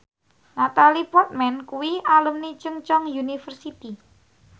Natalie Portman kuwi alumni Chungceong University